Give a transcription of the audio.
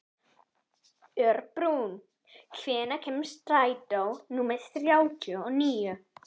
Örbrún, hvenær kemur strætó númer þrjátíu og níu?